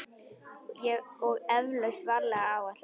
Og eflaust varlega áætlað.